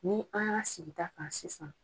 Ni an y'a sigi ta kan sisan.